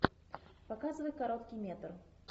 показывай короткий метр